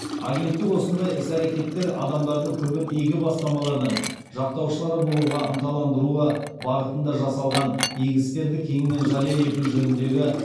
агенттік осындай іс әрекеттер адамдардың көбін игі бастамалардың жақтаушылары болуға ынталандыруы бағытында жасалған игі істерді кеңінен жария ету жөніндегі